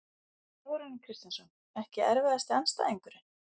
Þórarinn Kristjánsson Ekki erfiðasti andstæðingur?